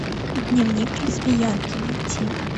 дневник лесбиянки найти